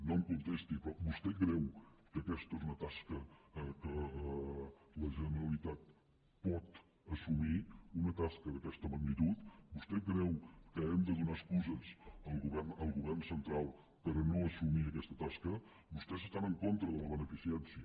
no em contesti però vostè creu que aquesta és una tasca que la generalitat pot assumir una tasca d’aquesta magnitud vostè creu que hem de donar excuses al govern central per no assumir aquesta tasca vostès estan en contra de la beneficència